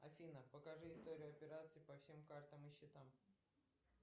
афина покажи историю операций по всем картам и счетам